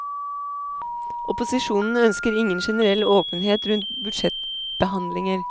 Opposisjonen ønsker ingen generell åpenhet rundt budsjettbehandlinger.